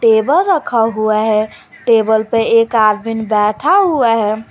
Table रखा हुआ है टेबल पे एक आदमी बैठा हुआ है।